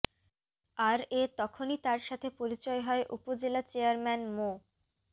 আর এ তখনই তার সাথে পরিচয় হয় উপজেলা চেযারম্যান মো